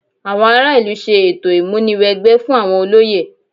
Àwọn ará ìlú ṣe ètò ìmúni wẹgbẹ́ fún àwọn olóyè